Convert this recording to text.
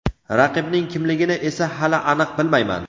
Raqibning kimligini esa hali aniq bilmayman.